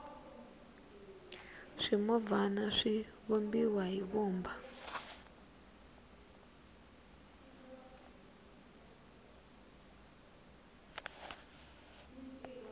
swimovhana swi vumbiwa hi vumba